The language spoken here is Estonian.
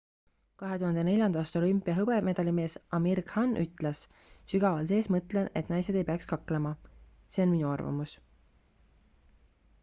2004 aasta olümpia hõbemedalimees amir khan ütles sügaval sees mõtlen et naised ei peaks kaklema see on minu arvamus